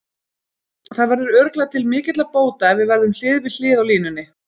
Það verður örugglega til mikilla bóta ef við verðum hlið við hlið á línunni.